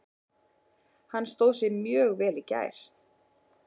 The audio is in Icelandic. Hann stóð sig mjög vel í gær.